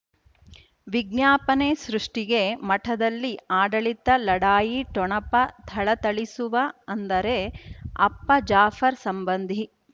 ವಿಜ್ಞಾಪನೆ ಸೃಷ್ಟಿಗೆ ಮಠದಲ್ಲಿ ಆಡಳಿತ ಲಢಾಯಿ ಠೊಣಪ ಥಳಥಳಿಸುವ ಅಂದರೆ ಅಪ್ಪ ಜಾಫರ್ ಸಂಬಂಧಿ